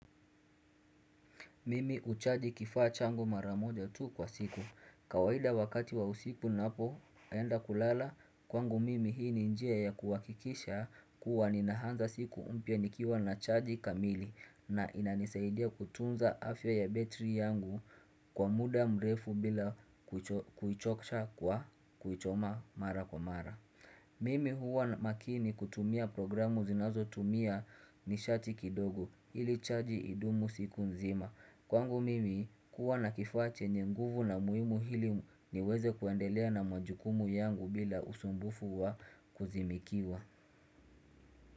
Mimi huchaji kifaa changu mara moja tu kwa siku. Kawaida wakati wa usiku ninapoenda kulala kwangu mimi hii ni njia ya kuhakikisha kuwa ni naanza siku mpya nikiwa na chaji kamili na inanisaidia kutunza afya ya battery yangu kwa muda mrefu bila kuichosha kwa kuichoma mara kwa mara. Mimi huwa makini kutumia programu zinazotumia nishati kidogo ili chaji idumu siku nzima. Kwangu mimi kuwa na kifaa chenyr nguvu na muhimu ili niweze kuendelea na majukumu yangu bila usumbufu wa kuzimikiwa.